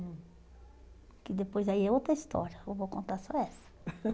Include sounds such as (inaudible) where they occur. Que depois aí é outra história, eu vou contar só essa. (laughs)